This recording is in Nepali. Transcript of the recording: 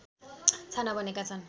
छाना बनेको छन्